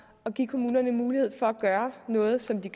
at give kommunerne mulighed for at gøre noget som de